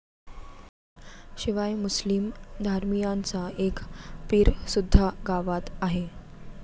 शिवाय मुस्लिम धर्मियांचा एक पीरसुद्धा गावात आहे.